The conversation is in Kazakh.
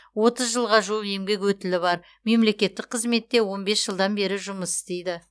отыз жылға жуық еңбек өтілі бар мемлекеттік қызметте он бес жылдан бері жұмыс істейді